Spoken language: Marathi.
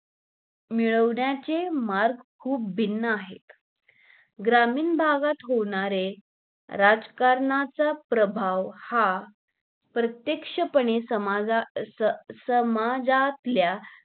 मिळवण्याचे मार्ग खुप भिन्न आहेत. ग्रामीण भागात होणारे, राजकारणाचा प्रभाव हा प्रत्यक्षपणे समा ज अं समाज समाजातल्या